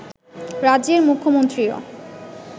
রাজ্যের মুখ্যমন্ত্রীও